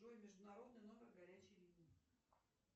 джой международный номер горячей линии